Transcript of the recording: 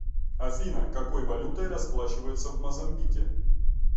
афина какой валютой расплачиваются в мозамбике